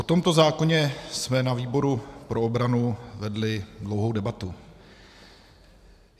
O tomto zákoně jsme na výboru pro obranu vedli dlouhou debatu.